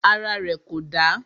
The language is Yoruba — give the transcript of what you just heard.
Ara rẹ̀ kò dà.